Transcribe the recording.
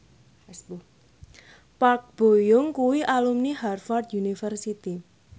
Park Bo Yung kuwi alumni Harvard university